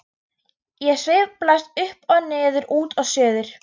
Ég sveiflast upp og niður, út og suður.